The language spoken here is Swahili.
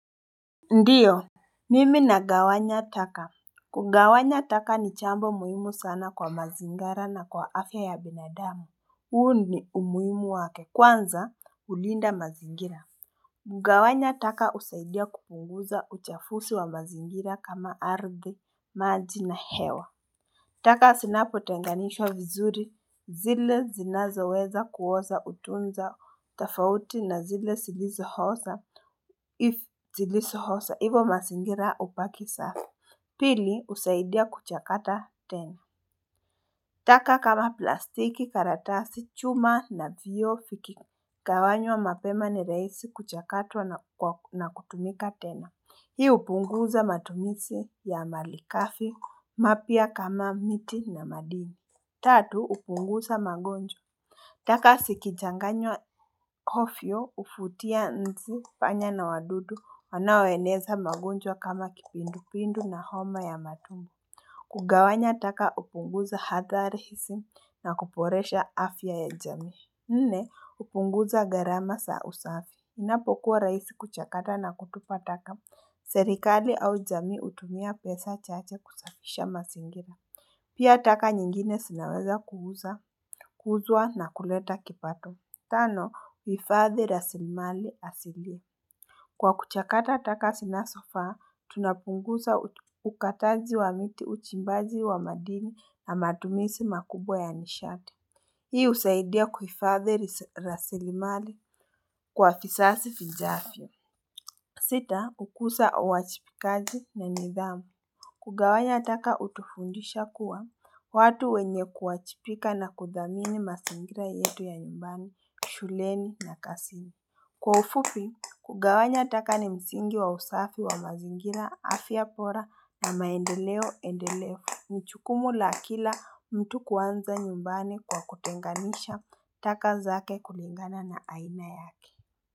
Ndiyo Mimi na gawanya taka Kungawanya taka ni jambo muhimu sana kwa mazingara na kwa afya ya binadamu Uhu ni umuhimu wake kwanza ulinda mazingira Ngawanya taka usaidia kukunguza uchafusi wa mazingira kama ardi, maji na hewa taka sinapo tenganishwa vizuri zile zinazaweza kuhoza utunza tafauti na zile silizohosa if zilizohosa hivo masingira upaki safi. Pili usaidia kuchakata tena. Taka kama plastiki karatasi chuma na vio fikikawanywa mapema ni raisi kuchakatwa na kutumika tena. Hii upunguza matumisi ya maligafi mapia kama miti na madini Tatu upunguza magonjwa taka sikichanganywa hovyo huvutia nzi panya na wadudu wanaweleza magonjwa kama kipindu pindu na homo ya matumu kugawanya taka upunguza hadharisi na kuporesha afya ya jami Nne upunguza garama sa usafi Inapokuwa raisi kuchakata na kutupa taka Serikali au jami utumia pesa chache kusafisha masingira Pia taka nyingine sinaweza kuhuza, kuhuzwa na kuleta kipato Tano, uifadhi rasilimali asilii Kwa kuchakata taka zina zofaa, tunapunguza ukataji wa miti uchimbaji wa madini na matumisi makubwa ya nishati Hii usaidia kuhifadhi rasilimali kwa vizazi vijavyo Sita ukuza uwachipikaji na nidhamu kugawanya taka utufundisha kuwa watu wenye kuwajibika na kudhamini mazingira yetu ya nyumbani shuleni na kazini Kwa ufupi kugawanya ataka ni msingi wa usafi wa mazingira afya bora na maendeleo endelevu Nijukumu la kila mtu kuanza nyumbani kwa kutenganisha taka zake kulingana na aina yake.